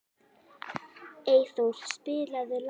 Einþór, spilaðu lag.